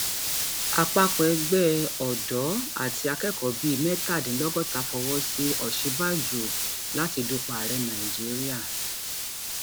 àpapọ ẹgbẹ um ọdọ àti akẹkọọ bíi mẹtàdínlọgọta fọwọ sí òsínbàjò um láti dupò ààrẹ nàíjíríà